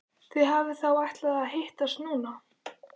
Þið hafið þá ætlað að hittast núna.